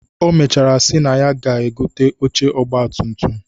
O mechara si na ya ga-egote oche ọgbatumtum